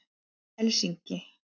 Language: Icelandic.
Helsinki